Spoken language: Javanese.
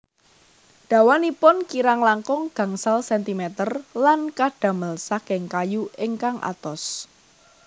Dawanipun kirang langkung gangsal sentimeter lan kadamel saking kayu ingkang atos